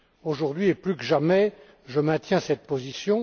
Aujourd'hui et plus que jamais, je maintiens cette position.